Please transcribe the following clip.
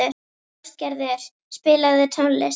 Ástgerður, spilaðu tónlist.